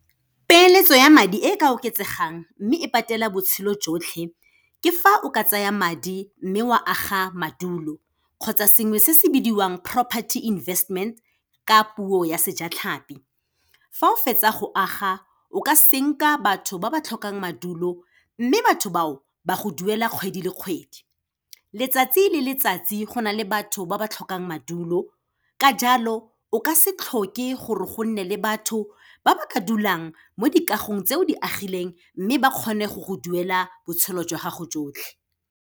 Peeletso ya madi e ka oketsegang, mme e patela botshelo jotlhe, ke fa o ka tsaya madi mme o a aga madulo kgotsa sengwe se se bidiwang property investment, ka puo ya sejatlhapi. Fa o fetsa go aga, o ka senka batho ba ba tlhokang madulo, mme batho bao, ba go duela kgwedi le kgwedi. Letsatsi le letsatsi go na le batho ba ba tlhokang madulo, ka jalo o ka se tlhoke gore gonne le batho ba ba ka dulang mo dikagong tse o di agileng mme ba kgone go go duela botshelo jwa gago jotlhe.